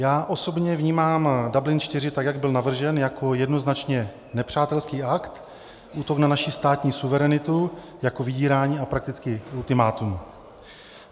Já osobě vnímám Dublin IV tak, jak byl navržen, jako jednoznačně nepřátelský akt, útok na naši státní suverenitu, jako vydírání a prakticky ultimátum.